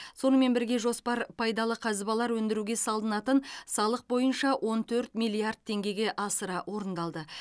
сонымен бірге жоспар пайдалы қазбалар өндіруге салынатын салық бойынша он төрт миллиард теңгеге асыра орындалды